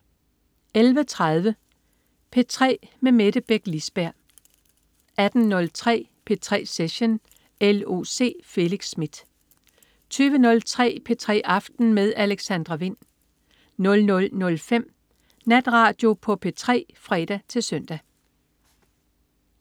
11.30 P3 med Mette Beck Lisberg 18.03 P3 Session. L.O.C. Felix Smith 20.03 P3 aften med Alexandra Wind 00.05 Natradio på P3 (fre-søn)